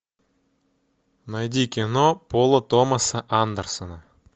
найди кино пола томаса андерсона